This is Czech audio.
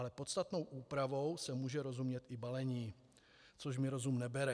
Ale podstatnou úpravou se může rozumět i balení, což mi rozum nebere.